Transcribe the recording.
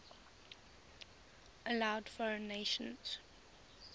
allowed foreign nations